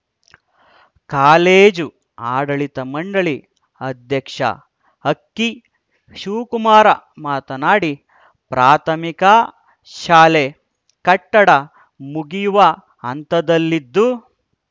college ಆಡಳಿತ ಮಂಡಳಿ ಅಧ್ಯಕ್ಷ ಅಕ್ಕಿ ಶಿವಕುಮಾರ ಮಾತನಾಡಿ ಪ್ರಾಥಮಿಕ ಶಾಲೆ ಕಟ್ಟಡ ಮುಗಿಯುವ ಹಂತದಲ್ಲಿದ್ದು